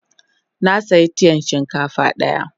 Na siya tiyan shinkafa daya.